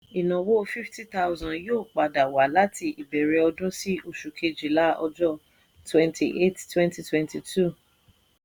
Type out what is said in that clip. ìnáwó fifty thousand yóò padà wá láti ìbẹ̀rẹ̀ ọdún sí oṣù kejìlá ọjọ́ twenty eight twenty twenty two.